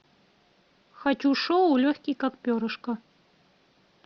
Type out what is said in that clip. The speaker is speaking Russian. хочу шоу легкий как перышко